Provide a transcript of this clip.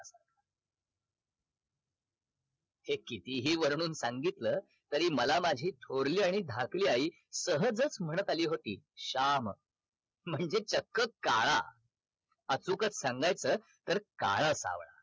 हे कितीही वर्णून सांगितल तरी मला माझी थोरली आणि धाकली आई सहजच म्हणत आली होती श्याम म्हणजे चक्क काळा अचूकच सांगायच तर काळा सावळा